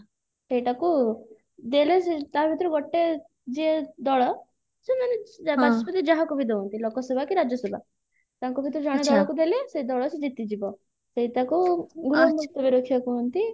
ସେଇଟାକୁ ଦେଲେ ସିଏ ତା ଭିତରୁ ଗୋଟେ ଯିଏ ଦଳ ସେ ମାନେ ବାଚସ୍ପତି ଯାହା କହିଦିଅନ୍ତି ଲୋକସଭା କି ରାଜ୍ୟସଭା ତାଙ୍କ ଭିତରେ ଜଣେ କାହାକୁ ଦେଲେ ସେ ଦଳ ସିଏ ଜିତିଯିବ ସେଇଟାକୁ ଗୃହ ମୁତଲବୀ ରକ୍ଷା କୁହନ୍ତି